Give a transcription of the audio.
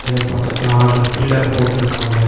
இது பக்கத்துல order pillar போட்டிருக்காங்க.